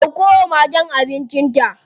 Ɗauko wa magen abincin ta.